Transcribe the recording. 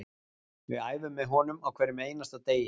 Við æfum með honum á hverjum einasta degi